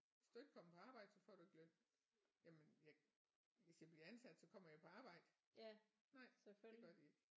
Hvis du ikke kommer på arbejde så får du ikke løn jamen jeg hvis jeg bliver ansat så kommer jeg på arbejde nej det gør de ikke